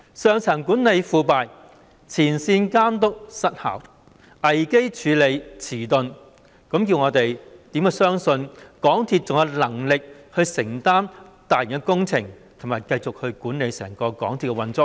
上層管理腐敗，前線監督失效，危機處理遲鈍，教我們如何相信港鐵公司還有能力承擔大型工程，以及繼續管理整個港鐵的運作呢？